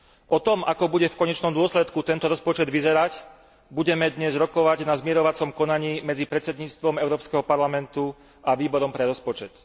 O tom, ako bude v konečnom dôsledku tento rozpočet vyzerať, budeme dnes rokovať na zmierovacom konaní medzi predsedníctvom Európskeho parlamentu a Výborom pre rozpočet.